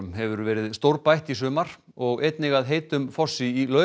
hefur verið stórbætt í sumar og einnig að heitum fossi í